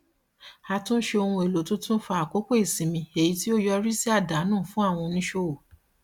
àtúnṣe ohun èlò tuntun fa àkókò ìsinmi èyí tí ó yọrí sí àdánù fún àwọn oníṣòwò